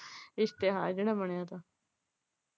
ਇਸ਼ਤਿਹਾਰ ਜਿਹੜਾ ਬਣਿਆ ਤਾ।